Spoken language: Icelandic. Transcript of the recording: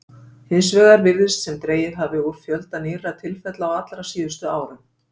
Hins vegar virðist sem dregið hafi úr fjölda nýrra tilfella á allra síðustu árum.